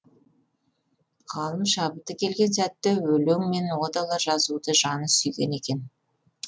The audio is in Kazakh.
ғалым шабыты келген сәтте өлең мен одалар жазуды жаны сүйген екен